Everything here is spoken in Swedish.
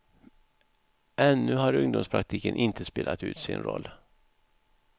Ännu har ungdomspraktiken inte spelat ut sin roll.